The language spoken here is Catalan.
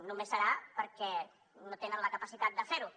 només serà perquè no tenen la capacitat de fer ho